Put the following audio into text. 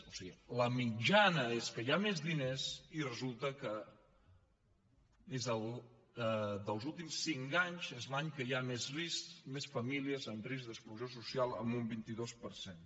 o sigui la mitjana és que hi ha més diners i resulta que dels últims cinc anys és l’any que hi ha més risc més famílies en risc d’exclusió social amb un vint dos per cent